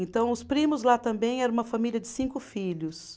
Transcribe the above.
Então, os primos lá também era uma família de cinco filhos.